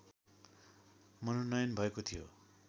मनोनयन भएको थियो